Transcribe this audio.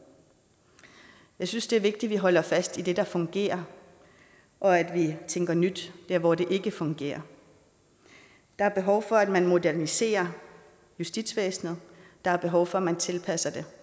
jeg synes det er vigtigt at vi holder fast i det der fungerer og at vi tænker nyt dér hvor det ikke fungerer der er behov for at man moderniserer justitsvæsenet der er behov for at man tilpasser det